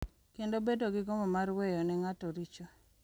Kendo bedo gi gombo mar weyo ne ng’ato richo, .